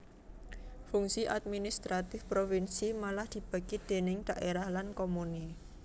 Fungsi administratif provinsi malah dibagi déning dhaérah lan komune